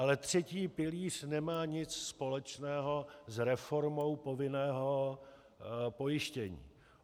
Ale třetí pilíř nemá nic společného s reformou povinného pojištění.